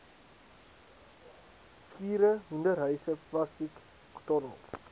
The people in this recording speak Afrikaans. skure hoenderhuise plastiektonnels